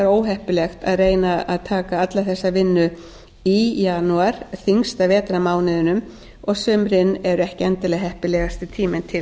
óheppilegt að reyna að taka alla þessa vinnu í janúar þyngsta vetrarmánuðinum og sumrin eru ekki endilega heppilegasti tíminn til